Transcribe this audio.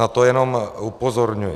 Na to jenom upozorňuji.